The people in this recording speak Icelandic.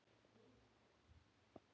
rikki- finnska